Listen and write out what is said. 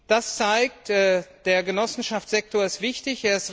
Das zeigt, der Genossenschaftssektor ist wichtig.